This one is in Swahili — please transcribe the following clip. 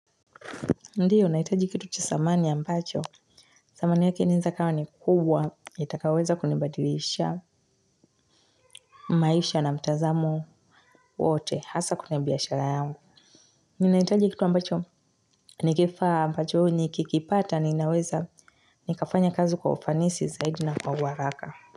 Ndiyo, nahitaji kitu cha thamani ambacho. Thamani yake inaeza ikawa ni kubwa, itakayoweza kunibadilishia maisha na mtazamo wote, hasa kwenye biashara yangu. Ninahitaji kitu ambacho, nikifaa ambacho nikikipata, ninaweza, nikafanya kazi kwa ufanisi, zaidi na kwa uharaka.